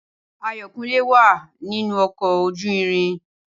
Ayọ̀kúnlé wá à nínú ọkọ̀ ojú irin.